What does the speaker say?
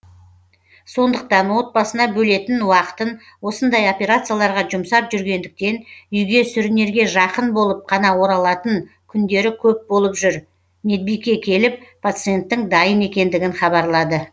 сондықтан отбасына бөлетін уақытын осындай операцияларға жұмсап жүргендіктен үйге сүрінерге жақын болып қана оралатын күндері көп болып жүр медбике келіп пациенттің дайын екендігін хабарлады